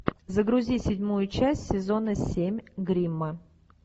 загрузи седьмую часть сезона семь гримма